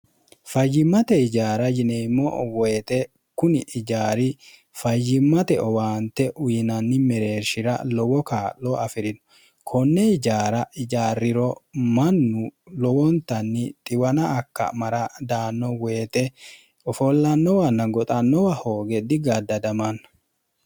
fayyimmate ijaara yineemmo woyixe kuni ijaari fayyimmate owaante uyinanni mereershira lowo kaa'lo afi'rino konne ijaara ijaarriro mannu lowontanni xiwana akka mara daanno woyite ofoollannowanna goxannowa hooge digaddadamanna